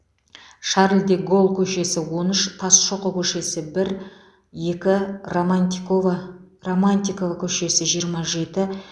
шарль де голль көшесі он үш тасшоқы көшесі бір екі романтикова романтикова көшесі жиырма жеті